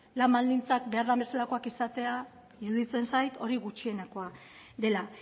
lan baldintzak behar bezalakoak izatea iruditzen zait hori gutxienekoa dela